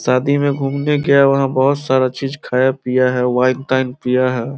शादी में घूमने गया है वहां बोहोत सारा चीज खाया पिया है वाइन ताइन पिया है।